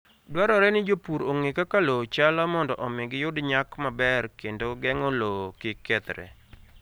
Dwarore ni jopur ong'e kaka lowo chalo mondo omi giyud nyak maber kendo geng'o lowo kik kethre.